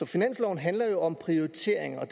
finansloven handler jo om prioriteringer og